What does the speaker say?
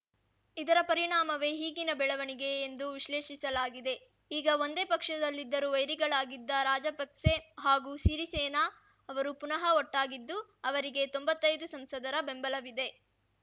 ಇದರ ಪರಿಣಾಮವೇ ಈಗಿನ ಬೆಳವಣಿಗೆ ಎಂದು ವಿಶ್ಲೇಷಿಸಲಾಗಿದೆ ಈಗ ಒಂದೇ ಪಕ್ಷದಲ್ಲಿದ್ದರೂ ವೈರಿಗಳಾಗಿದ್ದ ರಾಜಪಕ್ಸೆ ಹಾಗೂ ಸಿರಿಸೇನ ಅವರು ಪುನಃ ಒಟ್ಟಾಗಿದ್ದು ಅವರಿಗೆ ತೊಂಬತ್ತೈದು ಸಂಸದರ ಬೆಂಬಲವಿದೆ